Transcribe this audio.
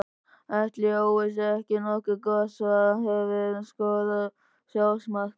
Ætli Jói sé ekki nokkuð gott svar Hefurðu skorað sjálfsmark?